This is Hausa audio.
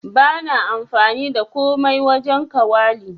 Bana amfani da komai wajen kawali.